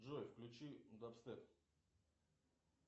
джой включи даб степ